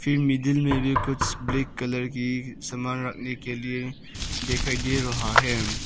Middle में भी कुछ ब्लैक कलर की सामान रखने के लिए दिखाई दे रहा है।